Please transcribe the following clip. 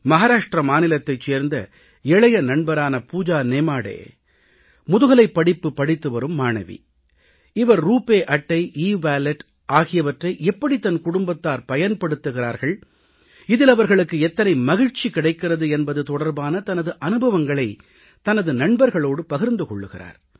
மஹாராஷ்ட்ர மாநிலத்தைச் சேர்ந்த இளைய நண்பரான பூஜா நேமாடே முதுகலைப் படிப்பு படித்து வரும் மாணவி இவர் ரூப்பே அட்டை இவாலட் ஆகியவற்றை எப்படி தன் குடும்பத்தார் பயன்படுத்துகிறார்கள் இதில் அவர்களுக்கு எத்தனை மகிழ்ச்சி கிடைக்கிறது என்பது தொடர்பான தனது அனுபவங்களைத் தனது நண்பர்களோடு பகிர்ந்து கொள்கிறார்